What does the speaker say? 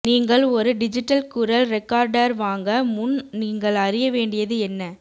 நீங்கள் ஒரு டிஜிட்டல் குரல் ரெக்கார்டர் வாங்க முன் நீங்கள் அறிய வேண்டியது என்ன